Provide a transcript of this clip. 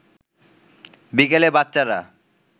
বিকেলে বাচ্চারা